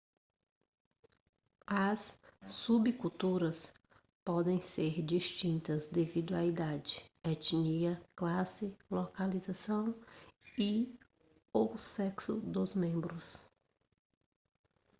as subculturas podem ser distintas devido à idade etnia classe localização e/ou sexo dos membros